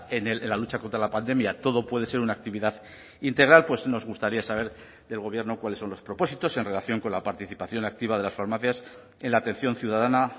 en la lucha contra la pandemia todo puede ser una actividad integral pues nos gustaría saber del gobierno cuáles son los propósitos en relación con la participación activa de las farmacias en la atención ciudadana